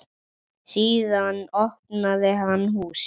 Síðan opnaði hann húsið.